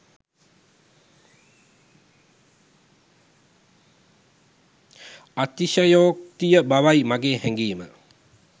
අතිශයෝක්තිය බවයි මාගේ හැගීම